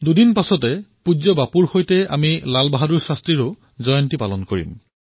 দুদিনৰ পিছত পূজ্য বাপুৰ সৈতে আমি শাস্ত্ৰীজীৰো জয়ন্তী পালন কৰিম